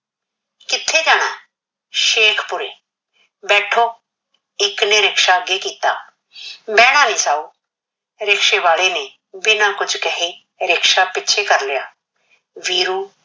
ਕਿੱਥੇ ਜਾਣਾ, ਸ਼ੇਖ਼ੂਪੁਰੇ, ਬੈਠੋ । ਇਕ ਨੇ ਰਿਕਸ਼ਾ ਅੱਗੇ ਕੀਤਾ, ਬਹਿਣਾ ਨਹੀਂ ਸਾਊ। ਰਿਕਸ਼ੇ ਵਾਲੇ ਨੇ ਬਿਨਾ ਕੁਸ਼ ਕਹੇ ਰਿਕਸ਼ਾ ਪਿੱਛੇ ਕਰ ਲਿਆ । ਵੀਰੂ